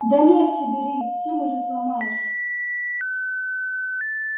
да легче бери симы же сломаешь